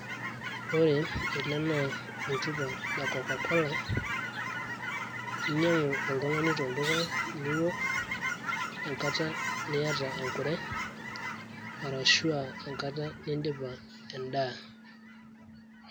Ore ele na oltupa le Coca-Cola. Inyang'u oltung'ani tolduka niwok enkata niata enkure, arashu ah enkata nidipa endaa.